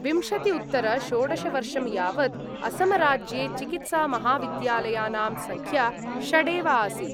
विंशति-उत्तर-षोडश वर्षं यावत् असमराज्ये चिकीत्सामहाविद्यालयानां संख्या षडेव आसीत्।